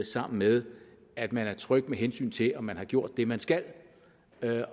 sammen med at man er tryg med hensyn til om man har gjort det man skal